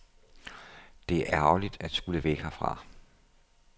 Det er ærgerligt at skulle væk herfra.